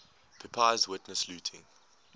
pepys witnessed looting